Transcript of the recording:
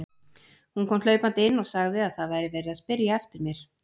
Hún kom hlaupandi inn og sagði að það væri verið að spyrja eftir mér.